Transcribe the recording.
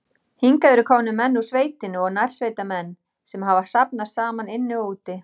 Hingað eru komnir menn úr sveitinni og nærsveitamenn, sem hafa safnast saman inni og úti.